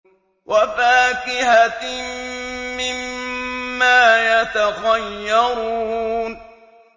وَفَاكِهَةٍ مِّمَّا يَتَخَيَّرُونَ